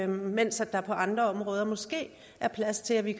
mens der på andre områder måske er plads til at vi